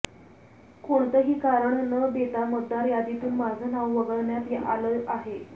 कोणतंही कारण न देता मतदार यादीतून माझं नाव वगळण्यात आलं आहे